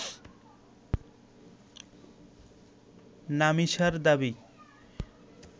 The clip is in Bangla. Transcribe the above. নামিসার দাবি